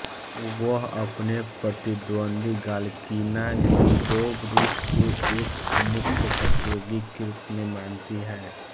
वह अपने प्रतिद्वंद्वी गालकिना लिउबोव रूस को एक मुख्य प्रतियोगी के रूप में मानती हैं